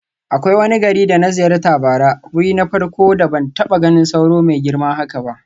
Akwai wani gari da na ziyarta bara, wuri na farko da ban taba ganin sauro mai girma haka ba.